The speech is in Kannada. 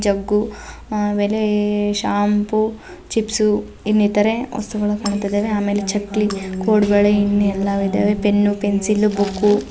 ಜಗ್ಗು ಆಮೇಲೆ ಶಾಂಪೂ ಚಿಪ್ಸ್ ಇನ್ನಿತರೆ ವಸ್ತುಗಳು ಕಾಣುತಿದ್ದಾವೆ. ಆಮೇಲೆ ಚಕ್ಲಿ ಕೋಡ್ಬಳೆ ಇನ್ನ್ ಎಲ್ಲವು ಇದ್ದಾವೆ. Pen pencil book